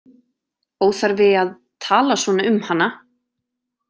Óþarfi að tala svona um hana.